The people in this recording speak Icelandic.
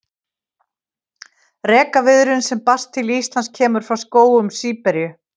Rekaviðurinn sem berst til Íslands kemur frá skógum Síberíu.